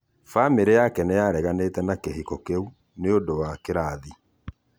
Bamĩrĩ yake nĩĩrareganĩte na kĩhĩko kĩũ nĩundũ wa kĩrathĩ